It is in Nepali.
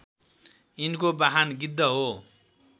यिनको वाहन गिद्ध हो